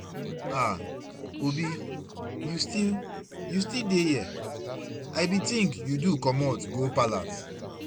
Aah! Obi you still you still dey here, I bin think you do comot go palace.